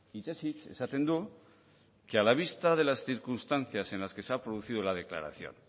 hitzez hitz esaten du que a la vista de las circunstancias en las que se ha producido la declaración